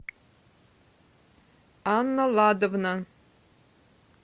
анна ладовна